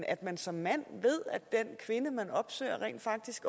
at man som mand ved at den kvinde man opsøger rent faktisk